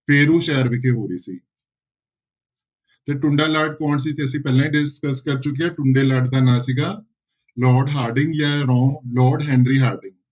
ਫੇਰੂੂ ਸ਼ਹਿਰ ਵਿਖੇ ਹੋ ਰਹੀ ਸੀ ਤੇ ਟੁੰਡਾ ਲਾਟ ਕੌਣ ਸੀ ਤੇ ਅਸੀਂ ਪਹਿਲਾਂ ਹੀ discuss ਕਰ ਚੁੱਕੇ ਹਾਂ ਟੁੰਡੇ ਲਾਟ ਦਾ ਨਾਂ ਸੀਗਾ ਲਾਰਡ ਹਾਰਡਿੰਗ ਜਾਂ ਲਾ~ ਲਾਰਡ ਹੈਨਰੀ ਹਾਰਡਿੰਗ